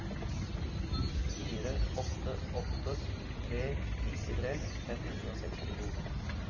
fire åtte åtte tre nittitre fem hundre og sekstito